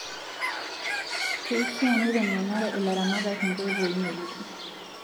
Keishaa nitengenare ilaramatak nkoitoii ngejuko